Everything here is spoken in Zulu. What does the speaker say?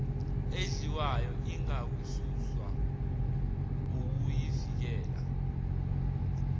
edliwayo ingakasuswa ukuyivikela